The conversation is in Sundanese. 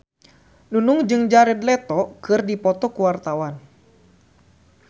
Nunung jeung Jared Leto keur dipoto ku wartawan